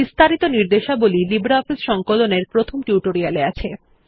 বিস্তারিত নির্দেশাবলী লিব্রিঅফিস সংকলন এর প্রথম টিউটোরিয়াল এ আছে